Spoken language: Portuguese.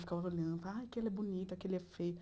Ficava olhando, ah, aquele é bonito, aquele é feio.